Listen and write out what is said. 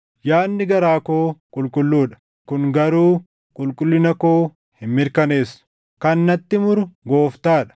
Yaadni garaa koo qulqulluu dha; kun garuu qulqullina koo hin mirkaneessu. Kan natti muru Gooftaa dha.